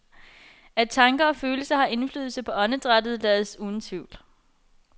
At tanker og følelser har indflydelse på åndedrættet lades uden tvivl.